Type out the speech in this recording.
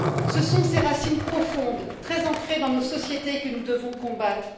Ce sont ces racines profondes, très ancrées dans nos sociétés, que nous devons combattre.